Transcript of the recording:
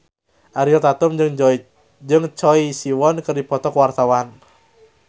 Ariel Tatum jeung Choi Siwon keur dipoto ku wartawan